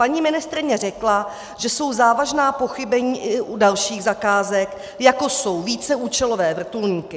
Paní ministryně řekla, že jsou závažná pochybení i u dalších zakázek, jako jsou víceúčelové vrtulníky.